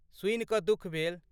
सुनि कऽ दुःख भेल।